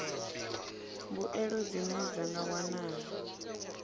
mbuelo dzine dza nga wanala